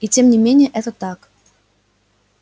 и тем не менее это так